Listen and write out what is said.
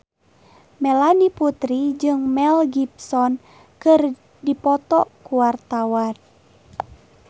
Melanie Putri jeung Mel Gibson keur dipoto ku wartawan